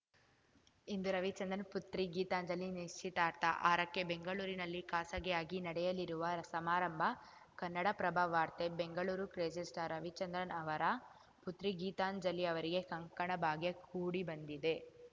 ಇಂದು ರವಿಚಂದ್ರನ್‌ ಪುತ್ರಿ ಗೀತಾಂಜಲಿ ನಿಶ್ಚಿತಾರ್ಥ ಆರಕ್ಕೆ ಬೆಂಗಳೂರಿನಲ್ಲಿ ಖಾಸಗಿಯಾಗಿ ನಡೆಯಲಿರುವ ಸಮಾರಂಭ ಕನ್ನಡಪ್ರಭವಾರ್ತೆ ಬೆಂಗಳೂರು ಕ್ರೇಜಿಸ್ಟಾರ್‌ ರವಿಚಂದ್ರನ್‌ ಅವರ ಪುತ್ರಿ ಗೀತಾಂಜಲಿ ಅವರಿಗೆ ಕಂಕಣ ಭಾಗ್ಯ ಕೂಡಿಬಂದಿದೆ